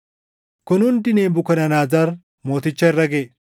Kun hundi Nebukadnezar Mooticha irra gaʼe.